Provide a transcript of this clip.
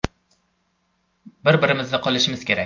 Bir-birimizni qo‘llashimiz kerak.